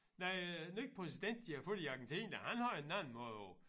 Nej æ nye præsident de har fået i Argentina han har en anden måde at